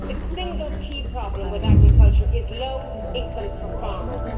The single key problem with agriculture is low incomes for farmers.